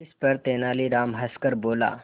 इस पर तेनालीराम हंसकर बोला